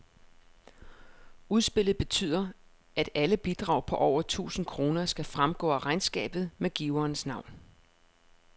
Udspillet betyder, at alle bidrag på over tusind kroner skal fremgå af regnskabet med giverens navn.